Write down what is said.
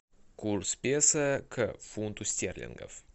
курс песо к фунту стерлингов